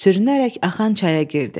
Sürünərək axan çaya girdi.